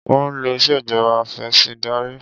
Wọ́n ń lò ìṣèjọba afẹ̀sìndarí.